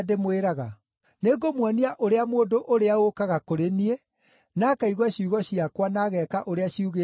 Nĩngũmuonia ũrĩa mũndũ ũrĩa ũũkaga kũrĩ niĩ, na akaigua ciugo ciakwa, na ageeka ũrĩa ciugĩte ahaana.